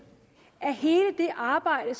at hele det arbejde